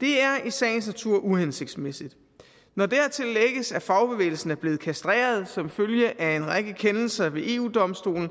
det er i sagens natur uhensigtsmæssigt når dertil lægges at fagbevægelsen er blevet kastreret som følge af en række kendelser ved eu domstolen